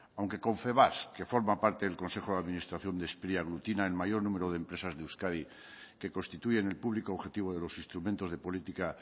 aunque confebask que forma parte del consejo de administración de spri aglutina el mayor número de empresas de euskadi que constituyen el público objetivo de los instrumentos de política